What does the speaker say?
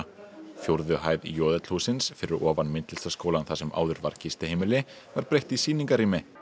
fjórðu hæð j l hússins fyrir ofan Myndlistarskólann þar sem áður var gistiheimili var breytt í sýningarrými